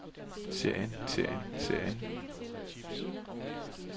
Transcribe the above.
serien serien serien